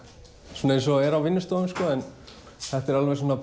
svona eins og er á vinnustofum en þetta er alveg svona